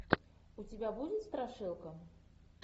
у тебя будет страшилка